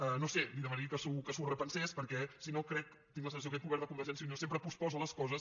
no ho sé li demanaria que s’ho repensés perquè si no tinc la sensació que aquest govern de convergència i unió sempre posposa les coses